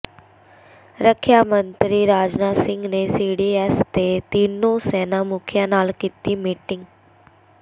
ਰੱਖਿਆ ਮੰਤਰੀ ਰਾਜਨਾਥ ਸਿੰਘ ਨੇ ਸੀਡੀਐਸ ਤੇ ਤਿੰਨੋਂ ਸੈਨਾ ਮੁਖੀਆਂ ਨਾਲ ਕੀਤੀ ਮੀਟਿੰਗ